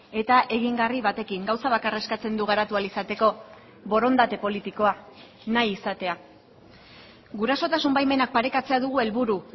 eta egingarri batekin gauza bakarra eskatzen du garatu ahal izateko borondate politikoa nahi izatea gurasotasun baimenak parekatzea dugu helburu